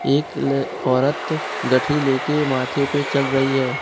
एक ल औरत गठरी ले के माथे पे चल रही है।